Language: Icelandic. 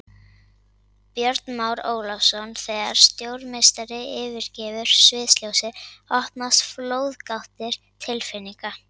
Björn Már Ólafsson Þegar stórmeistari yfirgefur sviðsljósið opnast flóðgáttir tilfinninga.